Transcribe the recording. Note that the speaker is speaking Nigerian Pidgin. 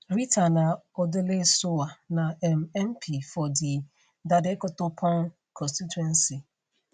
rita naa odoley sowah na um mp for di dadekotopon constituency